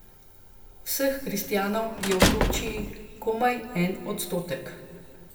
Vseh kristjanov je v Turčiji komaj en odstotek.